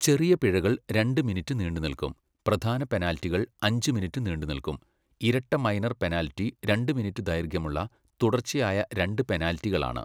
ചെറിയ പിഴകൾ രണ്ട് മിനിറ്റ് നീണ്ടുനിൽക്കും, പ്രധാന പെനാൽറ്റികൾ അഞ്ച് മിനിറ്റ് നീണ്ടുനിൽക്കും, ഇരട്ട മൈനർ പെനാൽറ്റി രണ്ട് മിനിറ്റ് ദൈർഘ്യമുള്ള തുടർച്ചയായ രണ്ട് പെനാൽറ്റികളാണ്.